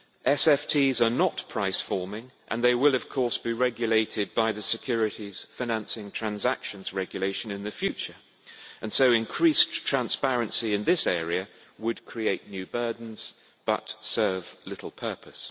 SFTs are not price forming and they will of course be regulated by the Securities Financing Transactions Regulation in the future, and so increased transparency in this area would create new burdens but serve little purpose.